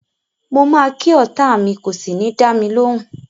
Mo ma ki ọta mi kò sí ni dámilóhùn.